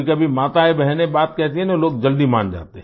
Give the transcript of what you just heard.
कभी माताएँबहनें बात कहती है न लोग जल्दी मान जाते हैं